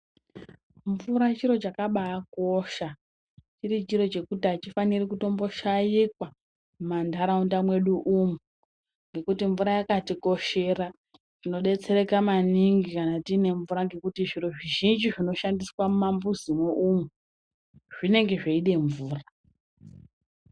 Mvura chiro chakabaakosha chiri chiro chekuti achifaniri kutomboshaikwa mumantharaunda mwedu umu ngekuti mvura yakatikoshera tinodetsereka maningi kana tine mvura ngekuti zviro zvizhinji zvinoshandiswa mumambuzi moumu zvinenge zveide mvura.